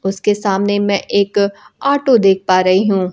उसके सामने में एक ऑटो देख पा रही हूं।